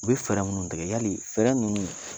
U be ninnu tigɛ y'ali ninnu